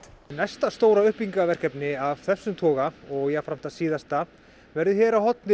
næsta stóra uppbyggingarverkefni af þessum toga og jafnframt það síðasta verður hér á horni